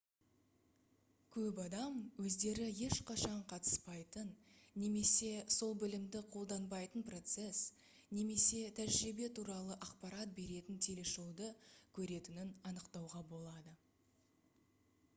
көп адам өздері ешқашан қатыспайтын немесе сол білімді қолданбайтын процесс немесе тәжірибе туралы ақпарат беретін телешоуды көретінін анықтауға болады